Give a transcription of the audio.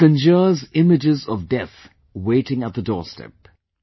It conjures images of Death waiting at the doorstep